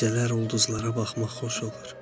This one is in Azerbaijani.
gecələr ulduzlara bax xoş olub.